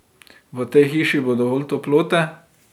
V tej hiši bo dovolj toplote.